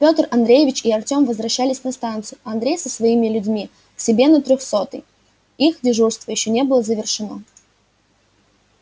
петр андреевич и артем возвращались на станцию а андрей со своими людьми к себе на трёхсотый их дежурство ещё не было завершено